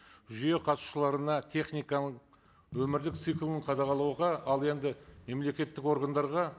жүйе қатысушыларына техниканың өмірлік циклын қадағалауға ал енді мемлекеттік органдарға